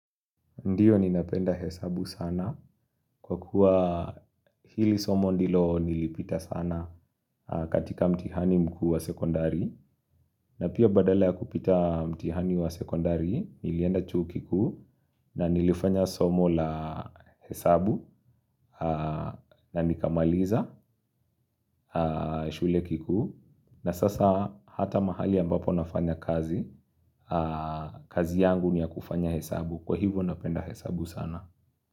Ndio ninapenda hesabu sana kwa kuwa hili somo ndilo nilipita sana katika mtihani mkuu wa sekondari na pia badala ya kupita mtihani wa sekondari nilienda chuo kikuu na nilifanya somo la hesabu na nikamaliza. Shule kikuu na sasa hata mahali ambapo nafanya kazi, kazi yangu ni ya kufanya hesabu kwa hivyo napenda hesabu sana.